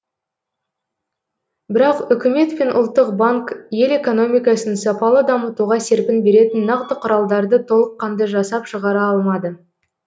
бірақ үкімет пен ұлттық банк ел экономикасын сапалы дамытуға серпін беретін нақты құралдарды толыққанды жасап шығара алмады